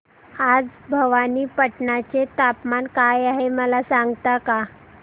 आज भवानीपटना चे तापमान काय आहे मला सांगता का